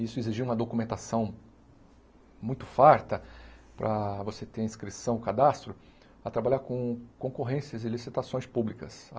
Isso exigia uma documentação muito farta para você ter inscrição, cadastro, a trabalhar com concorrências e licitações públicas.